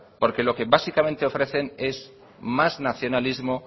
porque lo que básicamente ofrecen es más nacionalismo